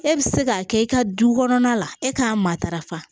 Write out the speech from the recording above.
E bɛ se k'a kɛ i ka du kɔnɔna la e k'a matarafa